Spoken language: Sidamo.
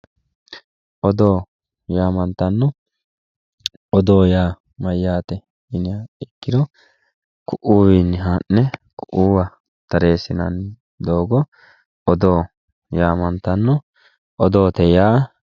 Odoo yaamantanohu ,odoo yaa mayate yinniha ikkiro ku"u kuiwinni ha'ne koira tareesinanni doogo odoo yaamantano odoote yaa.